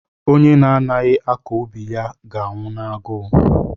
Onye na-adịghị akọ ubi ya ga-anwụ n'agụụ.